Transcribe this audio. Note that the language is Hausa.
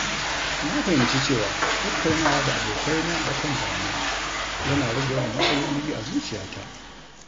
Na fahimci cewa tattaunawa da abokaina a kan damuwa yana rage yawan matsaloli a zuciyata.